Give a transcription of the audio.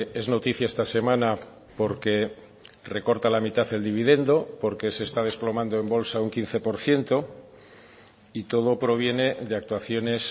es noticia esta semana porque recorta la mitad del dividendo porque se está desplomando en bolsa un quince por ciento y todo proviene de actuaciones